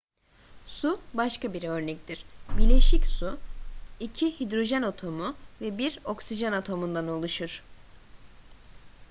su başka bir örnektir bileşik su iki hidrojen atomu ve bir oksijen atomundan oluşur